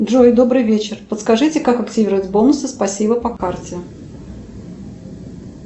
джой добрый вечер подскажите как активировать бонусы спасибо по карте